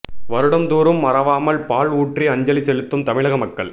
வருடம் தூறும் மறவாமல் பால் ஊற்றி அஞ்சலி செலுத்தும் தமிழக மக்கள்